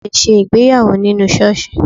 A lè ṣe ìgbéyàwó nínú ṣọ́ọ̀ṣì